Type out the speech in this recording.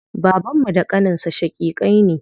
Babanmu da ƙaninsa shaƙiƙai ne.